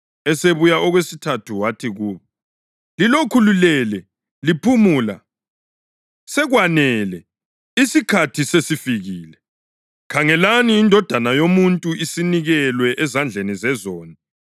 Esebuya okwesithathu wathi kubo, “Lilokhu lilele liphumula? Sekwanele! Isikhathi sesifikile. Khangelani, iNdodana yoMuntu isinikelwe ezandleni zezoni.